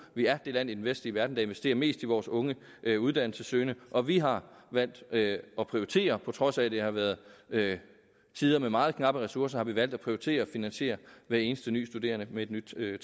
vi er det land i den vestlige verden der investerer mest i vores unge uddannelsessøgende og vi har valgt at prioritere på trods af at det har været tider med meget knappe ressourcer har vi valgt at prioritere finansiere hver eneste nye studerende med et nyt